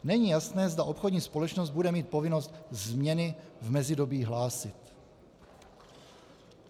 Není jasné, zda obchodní společnost bude mít povinnost změny v mezidobí hlásit.